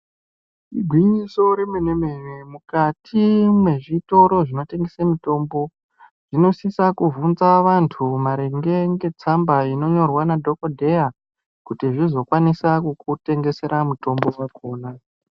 Igwinyiso remene-mene mukati mwezvitoro zvinotengesa mitombo zvinosisa kubvunza vantu marine nestamba ino nyorwa ndiadhokodheya kuti vzvizo kwanise kukutengesera mitombo dzakona.